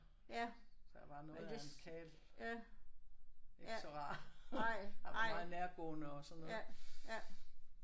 Han var noget af en karl. Ikke så rar. Han var meget nærgående og sådan noget